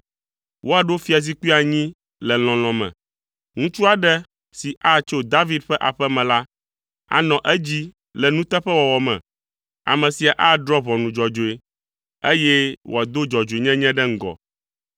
Woaɖo fiazikpui anyi le lɔlɔ̃ me. Ŋutsu aɖe si atso David ƒe aƒe me la, anɔ edzi le nuteƒewɔwɔ me. Ame sia adrɔ̃ ʋɔnu dzɔdzɔe, eye wòado dzɔdzɔenyenye ɖe ŋgɔ.